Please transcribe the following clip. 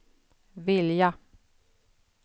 vilja